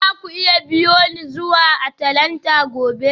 Za ku iya biyo ni zuwa Atlanta gobe?